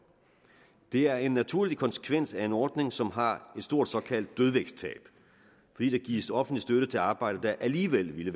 det er en naturlig konsekvens af en ordning som har et stort såkaldt dødvægtstab fordi der gives offentlig støtte til arbejde der alligevel ville